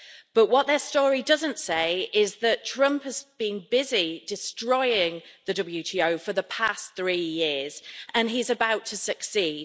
But what their story doesn't say is that Trump has been busy destroying the WTO for the past three years, and he's about to succeed.